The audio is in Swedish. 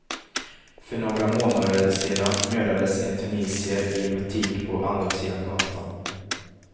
För några månader sedan mördades en tunisier i en butik på andra sidan gatan.